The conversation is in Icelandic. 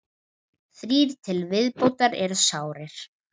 Þrír til viðbótar eru sárir